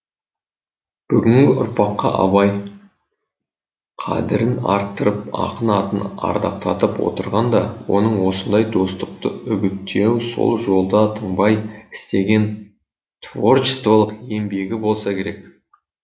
бүгінгі ұрпаққа абай қадірін арттырып ақын атын ардақтатып отырған да оның осындай достықты үгіттеуі сол жолда тынбай істеген творчестволық еңбегі болса керек